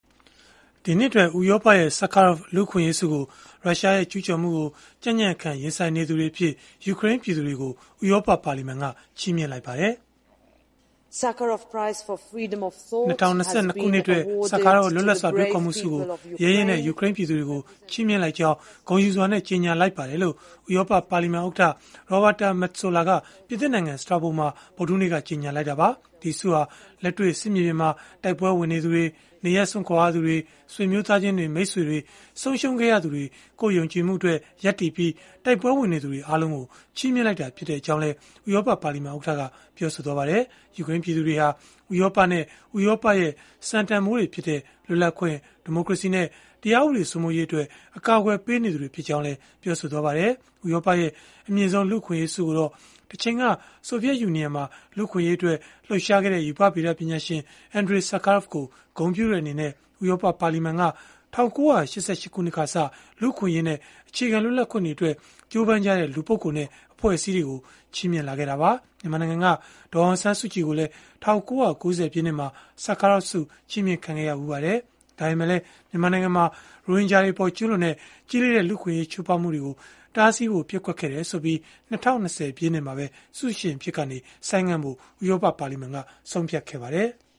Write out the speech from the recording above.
ဒီနှစ်အတွက် ဥရောပရဲ့ ဆာခါရော့ဗ် လူ့အခွင့်အရေးဆုကို ရုရှားရဲ့ ကျုးကျော်မှုကို ကြံ့ကြံ့ခံ ရင်ဆိုင်နေသူတွေအဖြစ် ယူကရိန်း ပြည်သူတွေကို ဥရောပပါလီမန်က ချီးမြှင့်လိုက်ပါတယ်။ “၂၀၂၂ ခုနှစ်အတွက် ဆာခါရော့ဗ် လွတ်လပ်စွာ တွေးခေါ်မှုဆုကို ရဲရင့်တဲ့ ယူကရိန်းပြည်သူတွေကို ချီးမြှင့်လိုက်ကြောင်း ဂုဏ်ယူစွာနဲ့ ကြေညာလိုက်ပါတယ်။” လို့ ဥရောပ ပါလီမန်ဥက္ကဋ္ဌ Roberta Metsola ပြင်သစ်နိုင်ငံ Strasbourg မှာ ဗုဒ္ဓဟူးနေ့က ကြေညာခဲ့တာပါ။ ဒီဆုဟာ လက်တွေ့ စစ်မြေပြင်မှာ တိုက်ပွဲဝင်နေသူတွေ၊ နေရပ်စွန့်ကြရသူတွေ၊ ဆွေမျိုးသားချင်းတွေ၊ မိတ်ဆွေတွေ ဆုံးရှုံးခဲ့ရသူတွေ၊ ကိုယ့်ယုံကြည်မှုအတွက် ရပ်တည်ပြီး တိုက်ပွဲဝင်နေသူတွေ အားလုံးကို ချီးမြှင့်လိုက်တာ ဖြစ်ကြောင်းလည်း ဥရောပပါလီမန် ဥက္ကဋ္ဌက ပြောပါတယ်။ ယူကရိန်းပြည်သူတွေဟာ ဥရောပနဲ့ ဥရောပရဲ့ စံတန်ဘိုးတွေဖြစ်တဲ့ လွတ်လပ်ခွင့်၊ ဒီမိုကရေစီနဲ့ တရားဥပဒေ စိုးမိုးရေးအတွက် ကာကွယ်ပေးနေသူတွေ ဖြစ်ကြောင်းလည်း ပြောပါတယ်။ ဥရောပရဲ့ အမြင့်ဆုံး လူ့အခွင့်အရေးဆုကိုတော့ တချိန်က ဆိုဗီယက်ယူနီယံမှာ လူ့အခွင့်အရေးအတွက် လှုပ်ရှားခဲ့တဲ့ ရူပဗေဒပညာရှင် အင်ဒရေ ဆာခါရော့ဗ် ကို ဂုဏ်ပြုတဲ့အနေနဲ့ ဥရောပပါလီမန်က ၁၉၈၈ ခုနှစ်ကစ လူ့အခွင့်အရေးနဲ့ အခြေခံ လွတ်လပ်ခွင့်တွေအတွက် ကြိုးပမ်းကြတဲ့ လူပုဂ္ဂိုလ်နဲ့ အဖွဲ့အစည်းတွေကို ချီးမြှင့်လာခဲ့တာပါ။ မြန်မာနိုင်ငံက ဒေါ်အောင်ဆန်းစုကြည်ကိုလည်း ၁၉၉၀ ပြည့်နှစ်မှာ ဆာခါရော့ဗ်ဆု ချီးမြှင့်ခံခဲ့ရဘူးပါတယ်။ ဒါပေမဲ့လည်း မြန်မာနိုင်ငံမှာ ရိုဟင်ဂျာတွေအပေါ် ကျုးလွန်တဲ့ ကြီးလေးတဲ့ လူ့အခွင့်အရေး ချိုးဖောက်မှုတွေကို တားဆီးဖို့ ပျက်ကွက်ခဲ့တယ်ဆိုပြီး ၂၀၂၀ ပြည့်နှစ်မှာပဲ ဆုရှင်အဖြစ်ကနေ ဆိုင်းငံ့ဖို့ ဥရောပပါလီမန်က ဆုံးဖြတ်ခဲ့ပါတယ်။